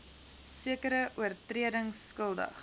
sekere oortredings skuldig